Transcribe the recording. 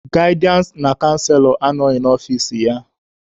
Gaịdịansị na canselọ anọghị n'ọfici ya.